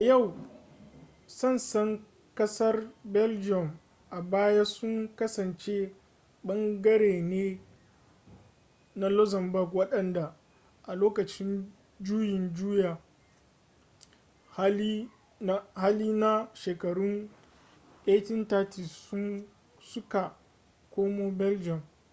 a yau sassan kasar belgium a baya sun kasance ɓangare ne na luxembourg wadanda a lokacin juyin juya hali na shekarun 1830 su ka komo belgium